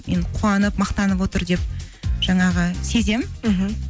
мен қуанып мақтанып отыр деп жаңағы сеземін мхм